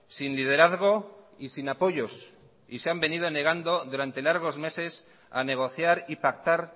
sin liderazgo y sin apoyos y se han venido negando durante largos meses a negociar y pactar